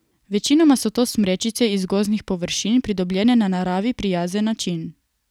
Večinoma so to smrečice iz gozdnih površin, pridobljene na naravi prijazen način.